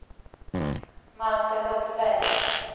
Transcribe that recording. Malte Hultberg